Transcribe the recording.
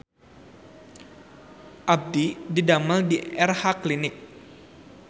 Abdi didamel di Erha Clinic